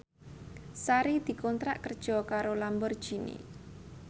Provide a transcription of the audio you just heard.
Sari dikontrak kerja karo Lamborghini